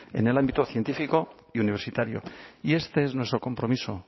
en el ámbito científico y universitario y este es nuestro compromiso